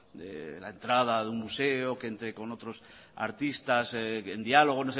de la entrada de un museo que entre con otros artistas en diálogo